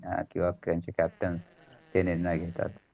captain ते निर्णय घितात.